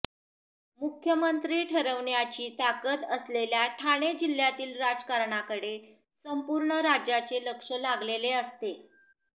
मुख्यमंत्री ठरविण्याची ताकद असलेल्या ठाणे जिल्ह्यातील राजकारणाकडे संपूर्ण राज्याचे लक्ष लागलेले असते